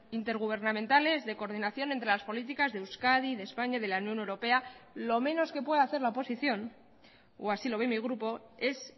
intergubernamentales de coordinación entre las políticas de euskadi de españa de la unión europea lo menos que puede hacer la oposición o así lo ve mi grupo es